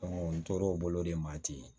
n tor'o bolo de ma ten